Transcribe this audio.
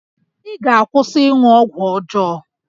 Ị ga-akwụsị ịṅụ ọgwụ ọjọọ!